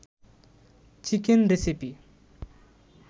chicken recipe